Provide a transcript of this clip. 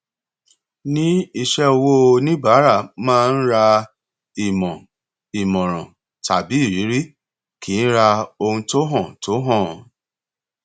ní iṣẹ owó oníbàárà máa ń ra ìmọ ìmọràn tàbí ìrírí kì í ra ohun tó hàn tó hàn